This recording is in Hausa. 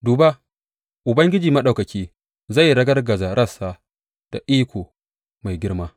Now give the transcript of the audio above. Duba, Ubangiji Maɗaukaki, zai ragargaza rassa da iko mai girma.